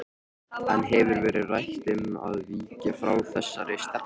En hefur verið rætt um að víkja frá þessari stefnu?